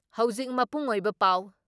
ꯍꯧꯖꯤꯛ ꯃꯄꯨꯡ ꯑꯣꯏꯕ ꯄꯥꯎ